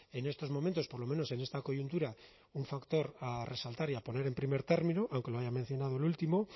en estos momentos por lo menos en esta coyuntura un factor a resaltar y a poner en primer término aunque lo haya mencionado el último